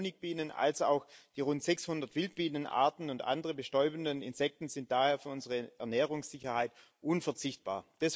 Sowohl die Honigbienen als auch die rund 600 Wildbienenarten und andere bestäubende Insekten sind daher für unsere Ernährungssicherheit unverzichtbar.